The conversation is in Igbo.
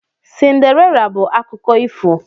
Cinderella bụ akụkọ ifo.